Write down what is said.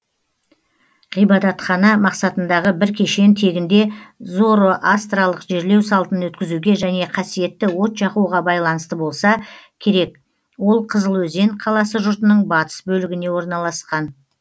ғибадатхана мақсатындағы бір кешен тегінде зороастралық жерлеу салтын өткізуге және қасиетті от жағуға байланысты болса керек ол қызылөзен қаласы жұртының батыс бөлігіне орналасқан